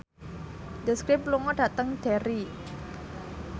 The Script lunga dhateng Derry